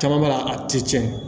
Caman b'a a ti tiɲɛ